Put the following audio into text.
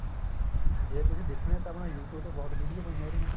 ਜੇ ਤੁਸੀਂ ਦੇਖਣੀ ਏ ਤਾਂ YouTube ਤੇ ਬਹੁਤ video ਪਈਏ ਉਹਦੀਆਂ